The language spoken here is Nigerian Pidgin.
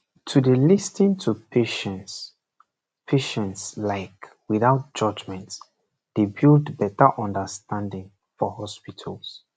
to dey lis ten to patients patients like without judgement dey build better understanding for hospitals